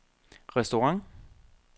restaurant